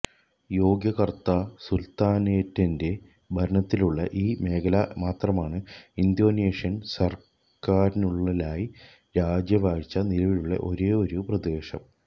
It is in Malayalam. യോഗ്യകർത്താ സുൽത്താനേറ്റിന്റെ ഭരണത്തിലുള്ള ഈ മേഖല മാത്രമാണ് ഇന്തോനേഷ്യൻ സർക്കാരിനുള്ളിലായി രാജവാഴ്ച നിലവിലുള്ള ഒരേയൊരു പ്രദേശം